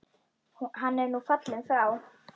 Hann er nú fallinn frá.